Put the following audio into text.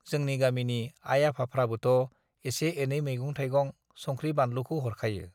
जोंनि गामिनि आइ आफाफ्राबोथ' एसे एनै मैगं थाइगं, संख्रि-बानलुखौ हरखायो।